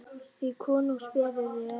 því konungs beðið er